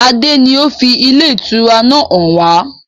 Adé ni ó fi ilé ìtura náà hàn wá.